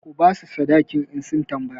Ku ba su sadakin in sun tambaya!